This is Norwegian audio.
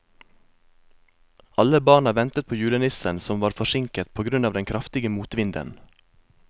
Alle barna ventet på julenissen, som var forsinket på grunn av den kraftige motvinden.